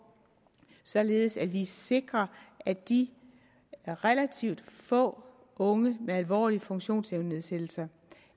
således at vi sikrer at de relativt få unge med alvorlige funktionsevnenedsættelser